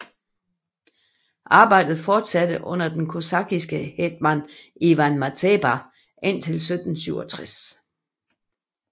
Arbejdet fortsatte under den kosakkiske Hetman Ivan Mazepa indtil 1767